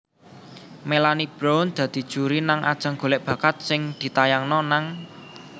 Melanie Brown dadi juri nang ajang golek bakat sing ditayangno nang